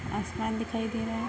आसमान दिखाई दे रहा है।